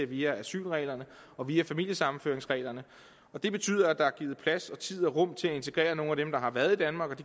via asylreglerne og via familiesammenføringsreglerne og det betyder at der er givet plads tid og rum til at integrere nogle af dem der har været i danmark og